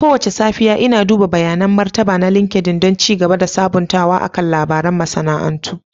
Kowace safiya, Ina duba bayanin martaba na LinkedIn don ci gaba da sabuntawa akan labaran masana'antu.